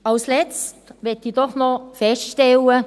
Als Letztes möchte ich doch noch feststellen: